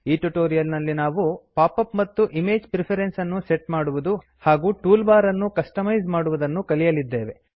ಈ ಟ್ಯುಟೊರಿಯಲ್ ನಲ್ಲಿ ನಾವು ಪಾಪ್ ಅಪ್ ಮತ್ತು ಇಮೇಜ್ ಪ್ರಿಫೆರೆನ್ಸ್ ಅನ್ನು ಸೆಟ್ ಮಾಡುವುದು ಹಾಗೂ ಟೂಲ್ ಬಾರ್ ಅನ್ನು ಕಸ್ಟಮೈಸ್ ಮಾಡುವುದನ್ನು ಕಲಿಯಲಿದ್ದೇವೆ